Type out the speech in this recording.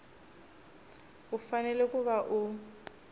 u fanele ku va u